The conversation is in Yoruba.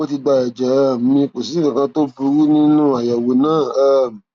ó ti gba ẹjẹ um mi kò sì rí nǹkan kan tó burú nínú àyẹwò náà um